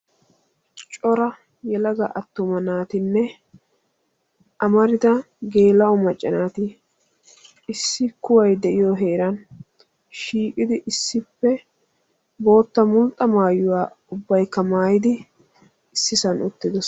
cora yelaga atuma naatinne amarida geela'o macca nati issi kuway de'iyo heeran shiiqidi issippe bootta mulxxa maayuwa ubaykka maayidi issisan uttidosona.